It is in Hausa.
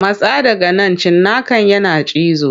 Matsa daga nan cinnakan yana cizo.